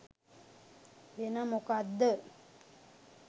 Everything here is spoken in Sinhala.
වෙන මොකද්ද?